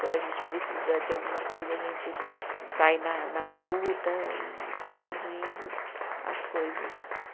Quando a gente precisa de alguma coisa, a gente sai na na luta e vai pedindo as coisas